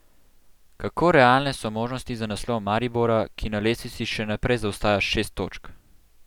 Kako realne so možnosti za naslov Maribora, ki na lestvici še naprej zaostaja šest točk?